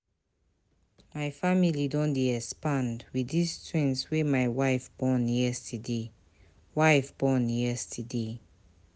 My family don dey expand wit these twins wey my wife born yesterday. wife born yesterday.